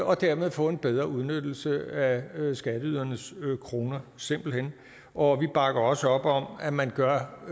og dermed få en bedre udnyttelse af skatteydernes kroner simpelt hen og vi bakker også op om at man gør